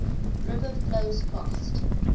river flows fast